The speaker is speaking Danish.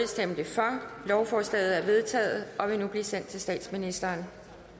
lovforslaget er vedtaget og vil nu blive sendt til statsministeren